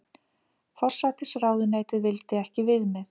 Forsætisráðuneytið vildi ekki viðmið